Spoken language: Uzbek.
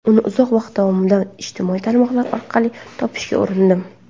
Uni uzoq vaqt mobaynida ijtimoiy tarmoqlar orqali topishga urindim.